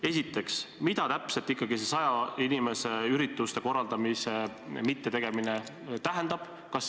Esiteks, mida täpselt ikkagi see saja inimesega ürituste korraldamise keeld tähendab?